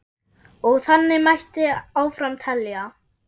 Og þannig mætti áfram telja.